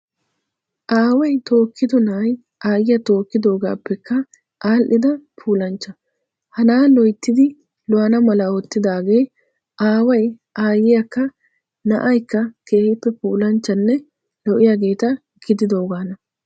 Aaway tokkdi na'ay aayiyaa tookkidoogaappekka aadhdhida puulanchcha. Ha na'aa loyttidi lo"ana mala oottidaagee aaway aayiyaakka naa"aykka keehiippe puulanchchanne lo"iyaageeta gididoogaana.